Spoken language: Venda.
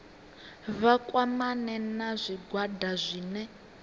vha kwamane na zwigwada zwine